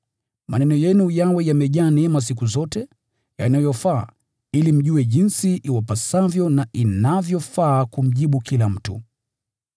Maneno yenu yawe yamejaa neema siku zote, yanayofaa, ili mjue jinsi iwapasavyo na inavyofaa kumjibu kila mtu.